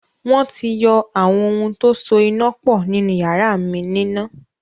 Wọ́n ti yọ àwọn ohun tó so iná pọ̀ nínu yàrá mi níná